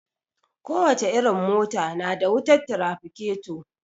Ko wace irin mota na da wutar tirafiketo